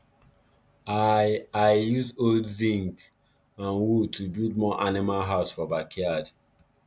i i use old zince and wood to build more animal house for backyard